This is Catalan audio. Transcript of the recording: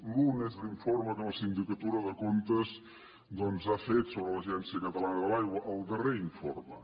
l’un és l’informe que la sindicatura de comptes doncs ha fet sobre l’agència catalana de l’aigua el darrer informe